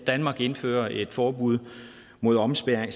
danmark indfører et forbud mod omskæring